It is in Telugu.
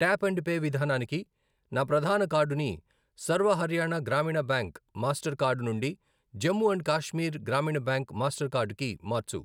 ట్యాప్ అండ్ పే విధానానికి నా ప్రధాన కార్డుని Sarva Haryana Gramin bank Mastercard నుండి Jammu and Kashmir Gramin bank Mastercard కి మార్చు.